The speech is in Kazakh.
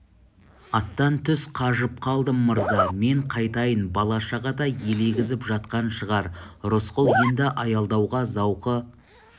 аттан түс қажып қалдым мырза мен қайтайын бала-шаға да елегізіп жатқан шығар рысқұл енді аялдауға зауқы